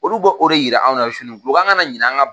Olu bɛ o de jira anw su ni u ko an kana ɲinɛ an ka